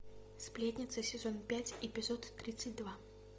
сплетница сезон пять эпизод тридцать два